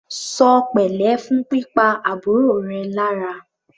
Ṣọ pẹ̀lẹ́ fún pípa àbúrò rẹ lára!